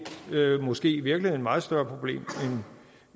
måske i virkeligheden meget større problem